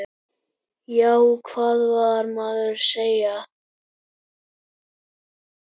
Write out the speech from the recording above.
Já, hvað vill maður segja?